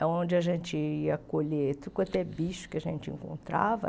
É onde a gente ia colher tudo quanto é bicho que a gente encontrava.